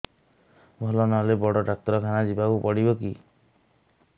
ଭଲ ନହେଲେ ବଡ ଡାକ୍ତର ଖାନା ଯିବା କୁ ପଡିବକି